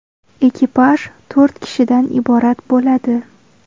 Ekipaj to‘rt kishidan iborat bo‘ladi.